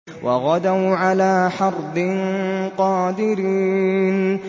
وَغَدَوْا عَلَىٰ حَرْدٍ قَادِرِينَ